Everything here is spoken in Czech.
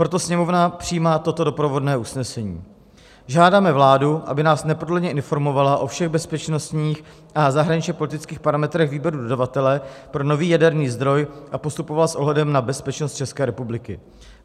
Proto Sněmovna přijímá toto doprovodné usnesení: Žádáme vládu, aby nás neprodleně informovala o všech bezpečnostních a zahraničně-politických parametrech výběru dodavatele pro nový jaderný zdroj a postupovala s ohledem na bezpečnost České republiky.